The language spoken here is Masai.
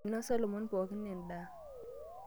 Einosa lomon pookin endaa.